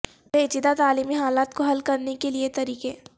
پیچیدہ تعلیمی حالات کو حل کرنے کے لئے طریقے